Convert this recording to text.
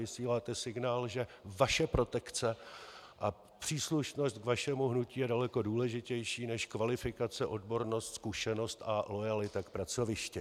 Vysíláte signál, že vaše protekce a příslušnost k vašemu hnutí je daleko důležitější než kvalifikace, odbornost, zkušenost a loajalita k pracovišti.